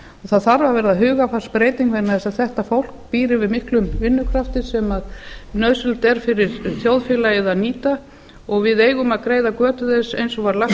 það þarf að verða hugarfarsbreyting vegna þess að þetta fólk býr yfir miklum vinnukrafti sem nauðsynlegt er fyrir þjóðfélagið að nýta og við eigum að greiða götu þess eins og var lagt til